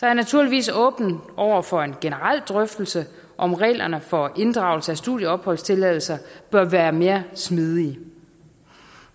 jeg naturligvis er åben over for en generel drøftelse om reglerne for inddragelse af studieopholdstilladelser bør være mere smidige